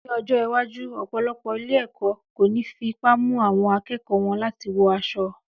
Ní ọjọ́ iwájú, ọ̀pọ̀lọpọ̀ ilé-ẹ̀kọ́ kò ní fipá mú àwọn akẹ́kọ̀ọ́ wọn láti wọ aṣọ